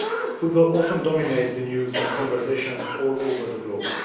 Football often dominates the news and conversations all over the globe.